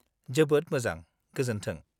जोबोद मोजां, गोजोन्थों।